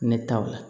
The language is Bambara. Ne taw la